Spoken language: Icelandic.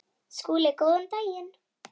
SKÚLI: Góðan daginn!